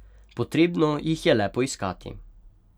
Potrebno jih je le poiskati.